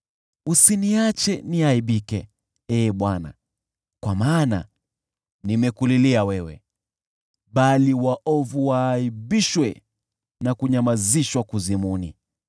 Usiniache niaibike, Ee Bwana , kwa maana nimekulilia wewe, bali waovu waaibishwe na kunyamazishwa Kuzimu.